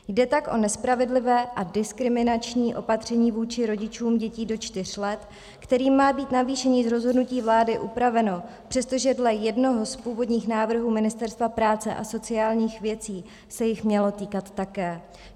Jde tak o nespravedlivé a diskriminační opatření vůči rodičům dětí do čtyř let, kterým má být navýšení z rozhodnutí vlády upraveno, přestože dle jednoho z původních návrhů Ministerstva práce a sociálních věcí se jich mělo týkat také.